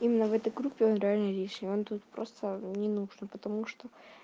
именно в этой группе он реально лишний он тут просто не нужно потому что